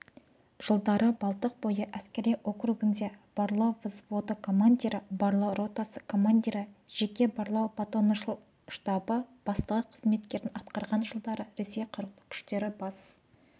жылдарыбалтықбойы әскери округінде барлаувзводыкомандирі барлау ротасы командирі жеке барлау батальоныштабы бастығы қызметтерін атқарған жылдары ресей қарулы күштері бас